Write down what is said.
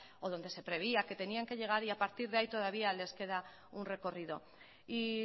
o donde se preveía que retenían que llegar y a partir de ahí todavía les queda un recorrido y